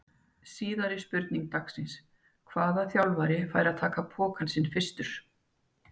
Síðari spurning dagsins: Hvaða þjálfari fær að taka pokann sinn fyrstur?